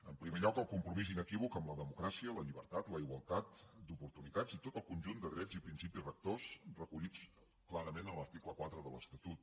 en primer lloc el compromís inequívoc amb la democràcia la llibertat la igualtat d’oportunitats i tot el conjunt de drets i principis rectors recollits clarament a l’article quatre de l’estatut